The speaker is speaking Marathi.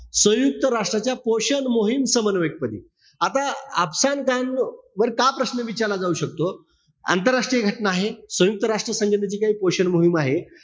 सयुंक्त राष्ट्राच्या पोषण मोहीम, समन्वयक पदी. आता अफसान खान वर का प्रश्न विचारला जाऊ शकतो. आंतरराष्ट्रीय घटना आहे. सयुंक राष्ट्र संघटनेची काही पोषण मोहीम आहे.